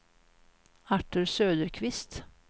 Artur Söderqvist